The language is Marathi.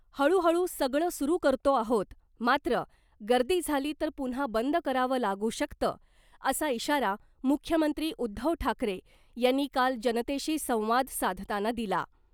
हळूहळू सगळं सुरु करतो आहोत मात्र गर्दी झाली तर पुन्हा बंद करावं लागू शकतं असा इशारा मुख्यमंत्री उद्धव ठाकरे यांनी काल जनतेशी संवाद साधताना दिला .